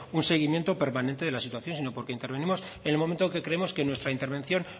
un seguimiento permanente de la situación sino porque intervenimos en el momento en que creemos que nuestra intervención